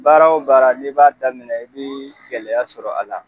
Baara wo baara, n'i b'a daminɛ i bi gɛlɛyaw sɔrɔ a la.